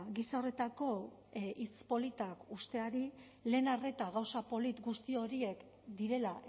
gisa horretako hitz politak uzteari lehen arreta gauza polit guzti horiek direla